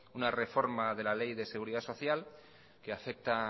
una reforma de la ley de seguridad social que afecta